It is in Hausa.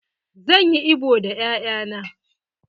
Zan yi ibo da 'ya'ya na.